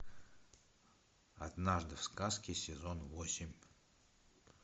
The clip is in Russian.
однажды в сказке сезон восемь